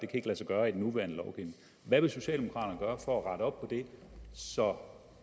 kan lade sig gøre i den nuværende lovgivning hvad vil socialdemokraterne gøre for at rette op på det så